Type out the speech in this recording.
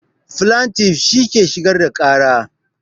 Flantif shi ke shigar da ƙara